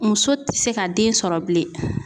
Muso tɛ se ka den sɔrɔ bilen.